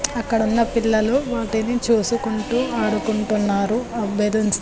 అక్కడున్న పిల్లలు వాటిని చుసుకుంటూ ఆడుకుంటున్నారు ఆ బెలూన్స్ --